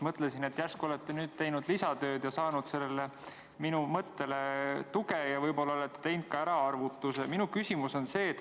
Mõtlesin, et järsku olete nüüd teinud lisatööd ja saanud minu mõttele tuge ning võib-olla olete teinud ära ka arvutuse.